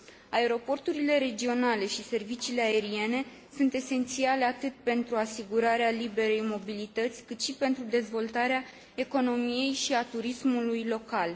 Aeroporturile regionale și serviciile aeriene sunt esențiale atât pentru asigurarea liberei mobilități, cât și pentru dezvoltarea economiei și a turismului local.